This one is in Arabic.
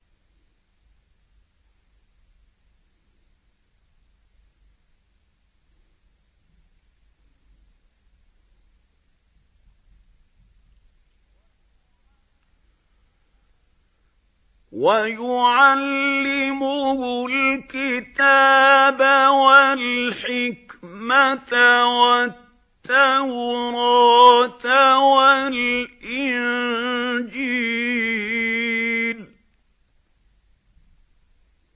وَيُعَلِّمُهُ الْكِتَابَ وَالْحِكْمَةَ وَالتَّوْرَاةَ وَالْإِنجِيلَ